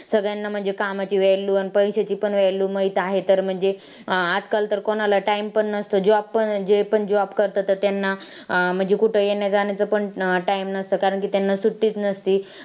सगळ्यांना म्हणजे कामाची value पैशाची पण value माहीत आहे तर म्हणजे आजकाल कोणाला time पण नसंन, job पण जे पण job करतात त्यांना अं म्हणजे कुठं येण्या-जाण्याचं पण time नसतं कारण की त्यांना सुट्टीच नसते.